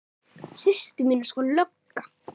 Systir mín er sko lögga